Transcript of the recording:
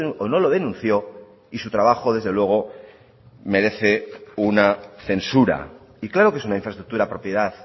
o no lo denunció y su trabajo desde luego merece una censura y claro que es una infraestructura propiedad